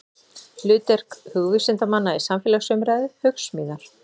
Hlutverk hugvísindamanna í samfélagsumræðu, Hugsmíðar.